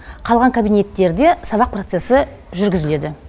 қалған кабинеттерде сабақ процесі жүргізіледі